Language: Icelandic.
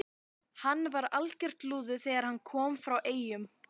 einsog vonin, einsog lífið- þessi mikla eftirsjá.